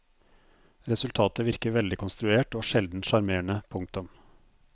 Resultatet virker veldig konstruert og sjelden sjarmerende. punktum